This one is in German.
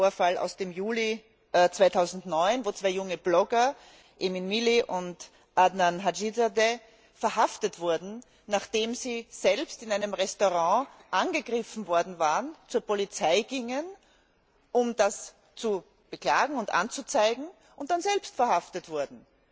ein Vorfall aus dem Juli 2009, wo zwei junge Blogger, Emin Milli und Adnan Hajizade verhaftet wurden, nachdem sie selbst in einem Restaurant angegriffen worden waren, zur Polizei gingen, um diesen Vorfall anzuzeigen, und dann selbst verhaftet wurden.